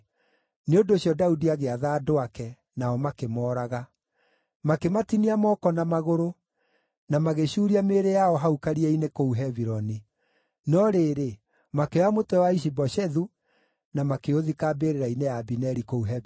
Nĩ ũndũ ũcio Daudi agĩatha andũ ake, nao makĩmooraga. Makĩmatinia moko na magũrũ, na magĩcuuria mĩĩrĩ yao hau karia-inĩ kũu Hebironi. No rĩrĩ, makĩoya mũtwe wa Ishi-Boshethu na makĩũthika mbĩrĩra-inĩ ya Abineri kũu Hebironi.